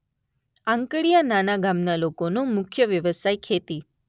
આંકડીયા નાના ગામના લોકોનો મુખ્ય વ્યવસાય ખેતી